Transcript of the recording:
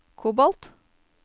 kobolt